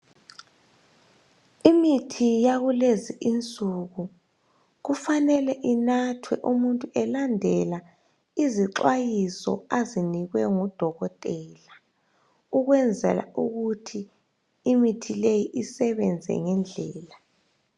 imithi yakulezi insuku kufanele inathwe umuntu elandela izixhwayiso azinekwe ngu dokotela ukwenzela ukuthi imithi leyi isebenze ngendlela